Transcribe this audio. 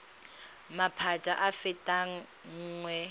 maphata a a fetang nngwe